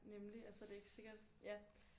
Nemlig altså det er ikke sikkert ja